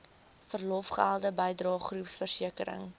verlofgelde bydrae groepversekering